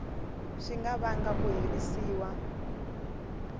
swi nga vanga ku herisiwa